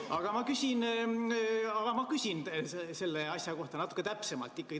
Aga ma küsin selle asja kohta natuke täpsemalt.